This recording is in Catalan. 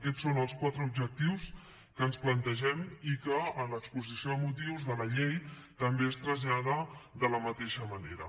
aquests són els quatre objectius que ens plantegem i que en l’exposició de motius de la llei també es traslladen de la mateixa manera